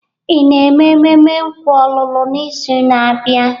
Ị na-eme mmemme nkwa ọlụlụ n'izu na-abịa?